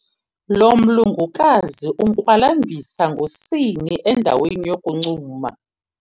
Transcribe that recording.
Lo mlungukazi unkwalambisa ngosini endaweni yokuncuma.